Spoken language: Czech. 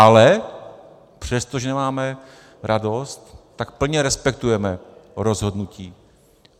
Ale přesto, že nemáme radost, tak plně respektujeme rozhodnutí.